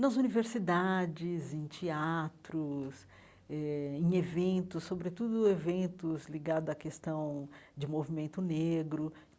Nas universidades, em teatros, eh em eventos, sobretudo eventos ligados à questão de movimento negro.